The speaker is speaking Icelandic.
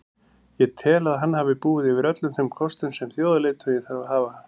Ég tel að hann hafi búið yfir öllum þeim kostum sem þjóðarleiðtogi þarf að hafa.